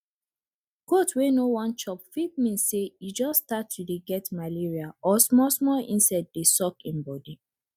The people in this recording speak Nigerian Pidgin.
goat wey no wan chop fit mean say e just start to dey get malaria or small small insect dey suck im body